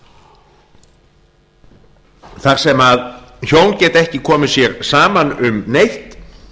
molum þar sem hjón geta ekki komið sér saman um neitt